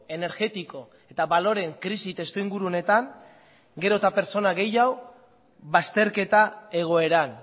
energetiko eta baloreen krisi testuinguru honetan gero eta pertsona gehiago bazterketa egoeran